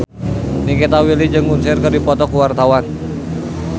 Nikita Willy jeung Usher keur dipoto ku wartawan